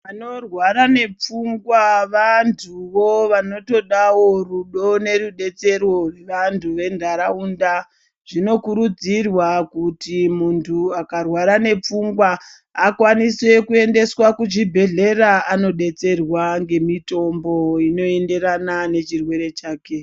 Vanorwara nepfungwa vantuwo vanodawo rudo nerudetsero rwevantu venharaunda zvinokurudzirwa Kuti muntu akarwara nepfungwa akwanise kuendeswa kuchibhedhlera anodetsera ngemitombo inoenderana nechirwere chake.